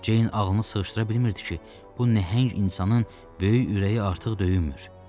Ceyn ağlını sığışdıra bilmirdi ki, bu nəhəng insanın böyük ürəyi artıq döyünmür.